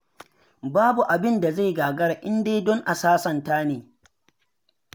Babu abinda zai gagara in dai don a sasanta ne.